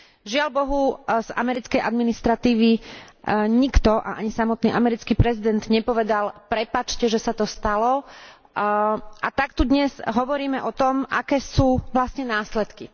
Žiaľ, z americkej administratívy nikto a ani samotný americký prezident nepovedal, prepáčte, že sa to stalo, a tak tu dnes hovoríme o tom, aké sú vlastne následky.